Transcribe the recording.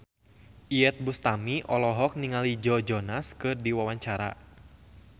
Iyeth Bustami olohok ningali Joe Jonas keur diwawancara